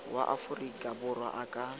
wa aforika borwa a ka